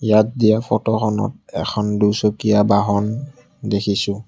ইয়াত দিয়া ফটো খনত এখন দুচকীয়া বাহন দেখিছোঁ।